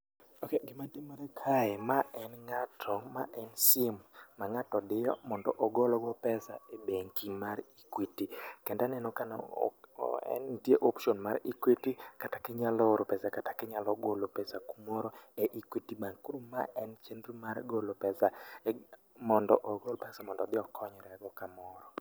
Gima timore kae, ma en ng'ato, ma en sim mang'ato diyo ,mondo ogolgo pesa e bengi mar Equity. Kendo aneno ka nitie option mar Equity kata ka inyalo oro pesa kata kinyalo golo pesa kumoro e Equity bank. Koro ma en chienro mar golo pesa, mondo ogol pesa mondo odhi okonyre godo kamoro.